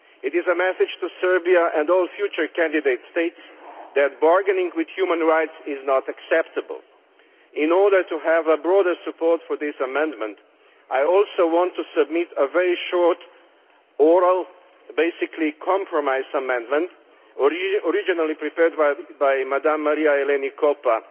It is a message to Serbia and all future candidate states that bargaining with human rights is not acceptable. In order to have broader support for this amendment, I also want to submit a very short oral basically compromise amendment, originally prepared by Mrs Maria Eleni Koppa.